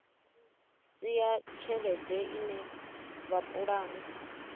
si ya tshelede ine vhapulani